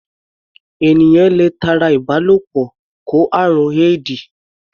Ènìyàn le tara ìbálòpọ̀ kó àrùn éèdì.